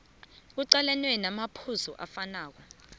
kuqalenwe namaphuzu afanako